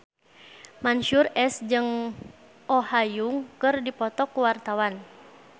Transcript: Mansyur S jeung Oh Ha Young keur dipoto ku wartawan